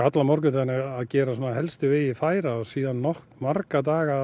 allan morgundaginn að gera helstu vegi færa og marga daga